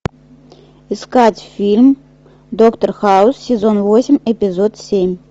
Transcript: искать фильм доктор хаус сезон восемь эпизод семь